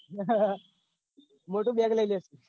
મોટું bag લઇ લઈશુ.